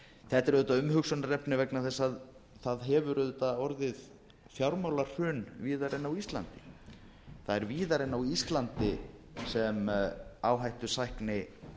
þetta er auðvitað umhugsunarefni vegna þess að það hefur orðið fjármálahrun víðar en á íslandi það er víðar en á íslandi sem áhættusækni